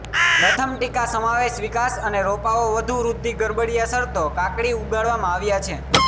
પ્રથમ ટીકા સમાવેશ વિકાસ અને રોપાઓ વધુ વૃદ્ધિ ગરબડિયા શરતો કાકડી ઉગાડવામાં આવ્યા છે